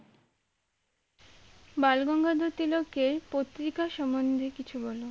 বালগঙ্গাধর তিলক এর পত্রিকার সম্বন্ধে কিছু বলো